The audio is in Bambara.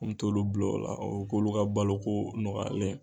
An mɛ t'olu bila o la u bɛ k'olu ka balo ko nɔgɔyalen ye.